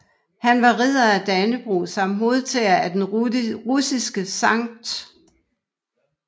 Han var Ridder af Dannebrog samt modtager af den russiske Skt